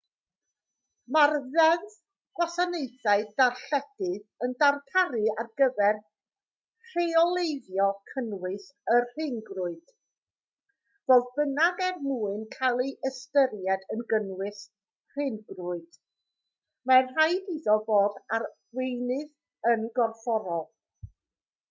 mae'r ddeddf gwasanaethau darlledu yn darparu ar gyfer rheoleiddio cynnwys y rhyngrwyd fodd bynnag er mwyn cael ei ystyried yn gynnwys rhyngrwyd mae'n rhaid iddo fod ar weinydd yn gorfforol